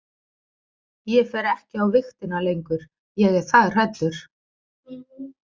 Ég fer ekki á vigtina lengur, ég er það hræddur.